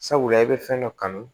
Sabula i bɛ fɛn dɔ kanu